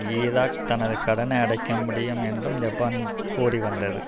Iraq தனது கடனை அடைக்க முடியும் என்றும் ஜப்பான் கூறிவந்தது